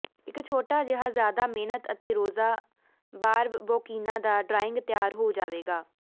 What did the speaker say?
ਇੱਕ ਛੋਟਾ ਜਿਹਾ ਜਿਆਦਾ ਮਿਹਨਤ ਅਤੇ ਰੋਜ਼ਾ ਬਾਰਬਬੋਕੀਨਾ ਦਾ ਡਰਾਇੰਗ ਤਿਆਰ ਹੋ ਜਾਵੇਗਾ